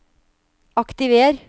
aktiver